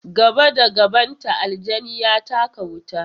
Gaba da gabanta, aljani ya taka wuta.